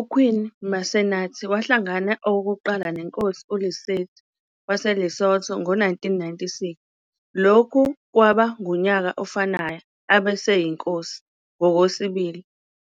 UQueen 'Masenate wahlangana okokuqala neNkosi uLetsie III waseLesotho ngo-1996. Lokhu kwaba ngunyaka ofanayo abeseyiNkosi ngokwesibili,